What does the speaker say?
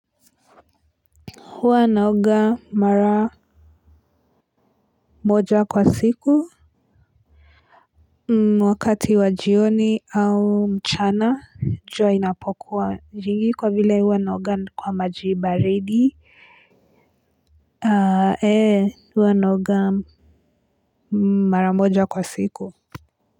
Huwa naoga mara moja kwa siku wakati wajioni au mchana jua inapokuwa jingi kwa vile huwa naoga kwa majibaridi. Huwa naoga mara moja kwa siku.